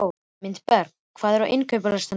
Mildinberg, hvað er á innkaupalistanum mínum?